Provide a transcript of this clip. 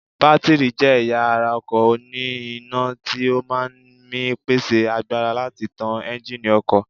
Bátìrì jẹ́ ẹ̀yà ara ọkọ̀ òní iná tí ó máa ń mi pèsè agbára láti tán Ẹ́ńjíìnì ọkọ̀